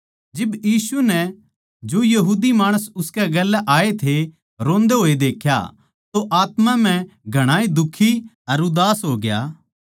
जिब यीशु नै जो उसकै गेल्या आये थे रोंदे होए देख्या तो आत्मा म्ह घणाए दुखी अर उदास होग्या